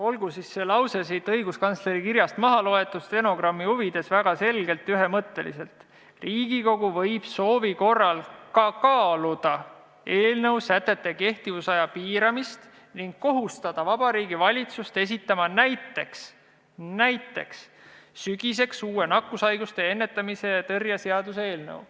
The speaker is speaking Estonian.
Olgu see lause siis õiguskantsleri kirjast maha loetud, stenogrammi huvides väga selgelt ja ühemõtteliselt: "Riigikogu võib soovi korral ka kaaluda eelnõu sätete kehtivusaja piiramist ning kohustada Vabariigi Valitsust esitama näiteks sügiseks uue nakkushaiguste ennetamise ja tõrje seaduse eelnõu.